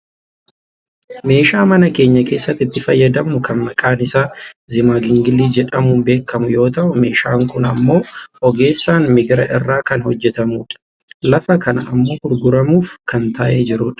Meeshaa mana keenya keessatti itti fayyadamnu kan maqaan isaa zimagingilii jedhamuun beekkamu yoo ta'u meeshaan kun ammoo ogeessaan migira irraa kan hojjatamudha. Lafa kana ammoo gurguramuuf kan taa'ee jiru dha.